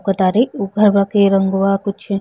ओकर तारे उ घरवा के रंगवा कुछ --